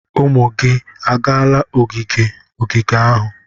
Ụmụ gị agaala ogige ogige ahu?